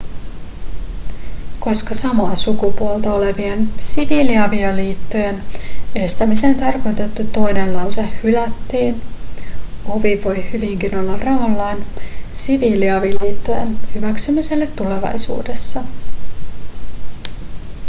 koska samaa sukupuolta olevien siviiliavioliittojen estämiseen tarkoitettu toinen lause hylättiin ovi voi hyvinkin olla raollaan siviiliavioliittojen hyväksymiselle tulevaisuudessa